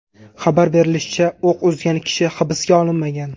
Xabar berilishicha, o‘q uzgan kishi hibsga olinmagan.